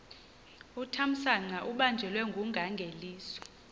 uthamsanqa ubanjelwe ngungangelizwe